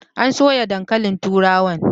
An soya Dankalin turawan